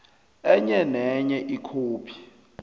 enye nenye ikhophi